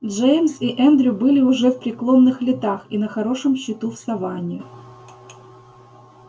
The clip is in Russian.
джеймс и эндрю были уже в преклонных летах и на хорошем счету в саванне